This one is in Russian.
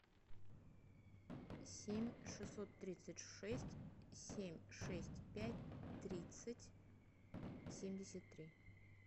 семь шестьсот тридцать шесть семь шесть пять тридцать семьдесят три